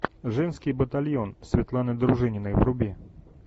женский батальон светланы дружининой вруби